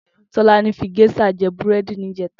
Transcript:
Tolani fi géṣà jè búrèdí nijètá